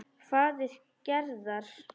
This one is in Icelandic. Faðir Gerðar.